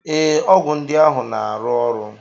Ee, ọgwụ ndị ahụ na aru oru